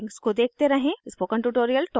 Scilab links को देखते रहें